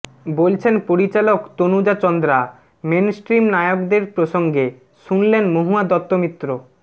বলছেন পরিচালক তনুজা চন্দ্রা মেনস্ট্রিম নায়কদের প্রসঙ্গে শুনলেন মহুয়া দত্তমিত্র